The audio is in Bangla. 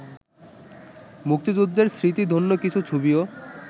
মুক্তিযুদ্ধের স্মৃতিধন্য কিছু ছবিও